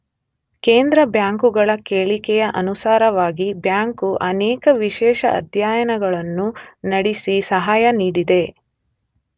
ಕೇಂದ್ರ ಬ್ಯಾಂಕುಗಳ ಕೇಳಿಕೆಯ ಅನುಸಾರವಾಗಿ ಬ್ಯಾಂಕು ಅನೇಕ ವಿಶೇಷ ಅಧ್ಯಯನಗಳನ್ನು ನಡೆಸಿ ಸಹಾಯ ನೀಡಿದೆ.